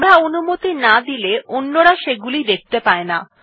আমরা অনুমতি আন দিলে অন্যরা সেগুলি দেখতে পায়না